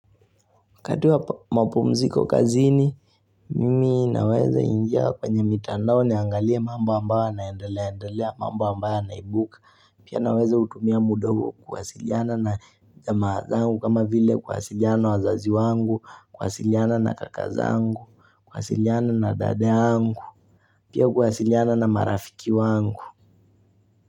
Kadri wa mpumziko kazini, mimi naweza ingia kwenye mitandao niangalia mambo ambayo yanaendelea, mamba ambayo yanaibuka, pia naweza utumia muda huo kuwasiliana na jamaa zangu kama vile kuwasiliana wazazi wangu, kuwasiliana na kaka zangu, kuwasiliana na dada yangu, pia kuhasiliana na marafiki wangu.